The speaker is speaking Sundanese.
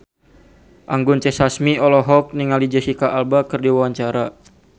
Anggun C. Sasmi olohok ningali Jesicca Alba keur diwawancara